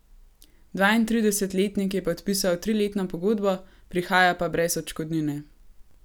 Dvaintridesetletnik je podpisal triletno pogodbo, prihaja pa brez odškodnine.